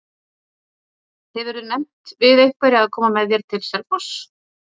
Hefurðu nefnt við einhverja að koma með þér til Selfoss?